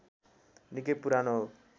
निकै पुरानो हो